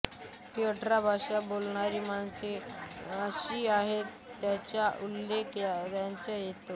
ही अठरा भाषा बोलणारी माणसे कशी आहेत त्याचा उल्लेख त्यात येतो